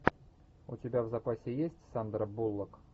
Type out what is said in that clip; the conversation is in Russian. у тебя в запасе есть сандра буллок